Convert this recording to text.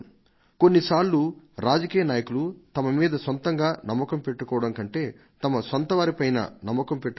కొన్ని సార్లు రాజకీయ నాయకులు తమ మీద నమ్మకం పెట్టుకోవడం కంటే తమ ప్రజల పైన నమ్మకం పెట్టుకోవాలి